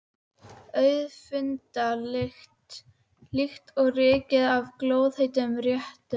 Auðfundna lykt, líkt og ryki af glóðheitum réttum.